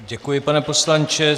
Děkuji, pane poslanče.